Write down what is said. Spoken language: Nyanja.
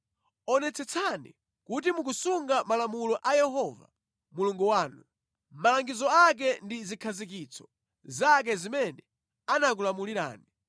Onetsetsani kuti mukusunga malamulo a Yehova Mulungu wanu, malangizo ake ndi zikhazikitso zake zimene anakulamulirani.